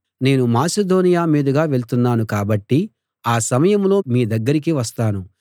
నేను మాసిదోనియ మీదుగా వెళ్తున్నాను కాబట్టి ఆ సమయంలో మీ దగ్గరికి వస్తాను